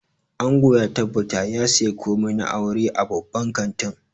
Ango ya tabbata ya saya komai na auren a babban kantin